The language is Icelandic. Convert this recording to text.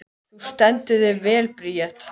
Þú stendur þig vel, Bríet!